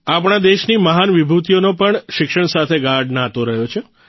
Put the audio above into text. આપણા દેશની મહાન વિભૂતિઓનો પણ શિક્ષણ સાથે ગાઢ નાતો રહ્યો છે